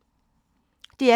DR P2